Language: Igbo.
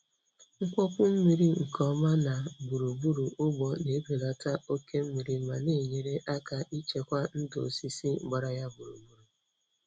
Mkpọpu mmiri nke ọma na gburugburu ugbo na-ebelata oke mmiri ma na-enyere aka ichekwa ndụ osisi gbara ya gburugburu.